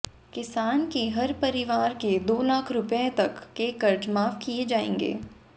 किसान के हर परिवार के दो लाख रुपये तक के कर्ज माफ किए जाएंगे